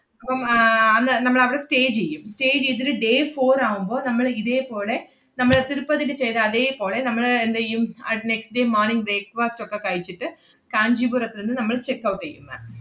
അപ്പം ആഹ് അന്ന് നമ്മൾ അവടെ stay ചെയ്യും. stay ചെയ്തിട്ട് day four ആവുമ്പ, നമ്മള് ഇതേപോലെ നമ്മള് തിരുപ്പതില് ചെയ്ത അതേപോലെ നമ്മള് എന്തെയ്യും അഹ് next day morning breakfast ഒക്കെ കഴിച്ചിട്ട് കാഞ്ചീപുരത്ത്ന്ന് നമ്മൾ checkout എയ്യും ma'am.